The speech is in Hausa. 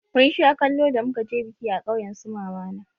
Mun sha kallo da muka je biki a ƙauyen su mama na.